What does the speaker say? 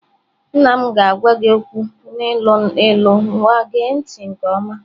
Nna m ga-agwa gị okwu n'ilu ilu nwaa gee ntị nke ọma.